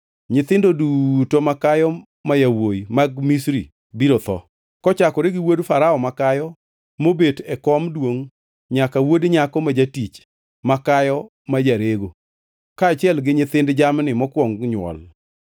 Nyithindo duto makayo ma yawuowi mag Misri biro tho, kochakore gi wuod Farao makayo mobet e kom duongʼ nyaka wuod nyako ma jatich makayo ma jarego, kaachiel gi nyithind jamni mokwong nywol.